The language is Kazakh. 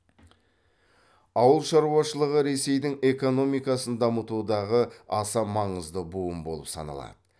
ауыл шаруашылығы ресейдің экономикасын дамытудағы аса маңызды буын болып саналады